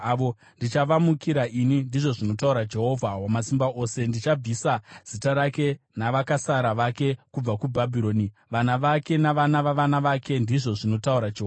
“Ndichavamukira ini,” ndizvo zvinotaura Jehovha Wamasimba Ose. “Ndichabvisa zita rake navakasara vake kubva kuBhabhironi, vana vake navana vavana vake,” ndizvo zvinotaura Jehovha.